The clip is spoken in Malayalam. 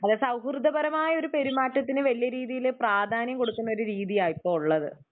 സൗഹൃദപരമായ ഒരു പെരുമാറ്റത്തിന് വല്യ രീതിയില് പ്രാധന്യം കൊടുക്കുന്ന ഒരു രീതിയാണിപ്പോള്ളത്.